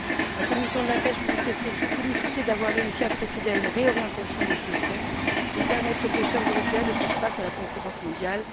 La commission de la pêche peut donc se féliciter d'avoir réussi à procéder à une réorientation de ce Fonds pour permettre aux pêcheurs européens de faire face à la concurrence mondiale.